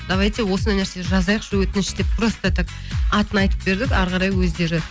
давайте осындай нәрсе жазайықшы өтініш деп просто так атын айтып бердім ары қарай өздері